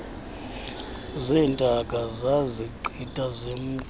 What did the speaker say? zeentaka sazigqiba semka